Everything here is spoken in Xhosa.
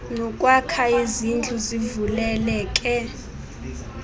nokwakha izindlu zivuleleke